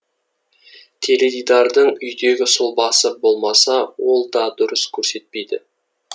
теледидардың үйдегі сұлбасы болмаса ол да дұрыс көрсетпейді